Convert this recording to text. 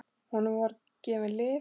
Honum voru gefin lyf.